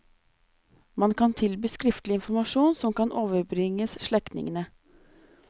Man kan tilby skriftlig informasjon som kan overbringes slektningene.